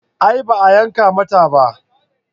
A'a ba a yanka mata ba